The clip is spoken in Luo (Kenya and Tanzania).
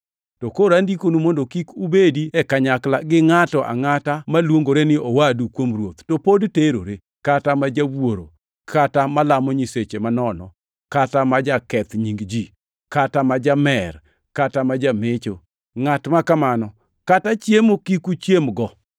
To koro andikonu mondo kik ubedi e kanyakla gi ngʼato angʼata maluongore ni owadu kuom Ruoth, to pod terore, kata ma jawuoro, kata malamo nyiseche manono, kata ma jaketh nying ji, kata ma jamer, kata ma jamecho. Ngʼat ma kamano kata chiemo kik uchiemgo.